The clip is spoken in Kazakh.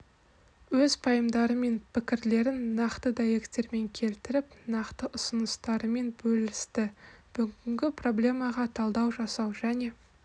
өз пайымдары мен пікірлерін нақты дәйектермен келтіріп нақты ұсыныстарымен бөлісті бүгінгі проблемаларға талдау жасау және